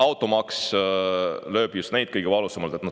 Automaks lööb just neid kõige valusamalt.